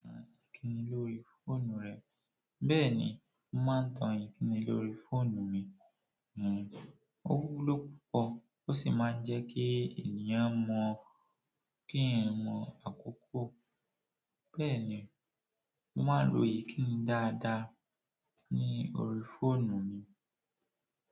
Ìkíni lórí fóònù rẹ? Bẹ́ẹ̀ ni, mo máa ń tan ìkíni lórí fóònù mi. Ó wúlò púpọ̀ ó sì máa ń jẹ́ kí ènìyàn mọ kìí ń mọ àkókò. Bẹ́ẹ̀ ni, mo máa ń lo ìkíni dáadáa ní orí fóònù mi.